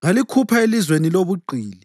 ngalikhupha elizweni lobugqili.